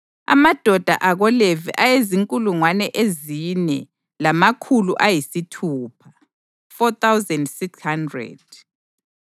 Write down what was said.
amadoda akoLevi ayezinkulungwane ezine lamakhulu ayisithupha (4,600),